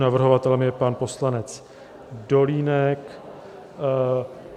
Navrhovatelem je pan poslanec Dolínek.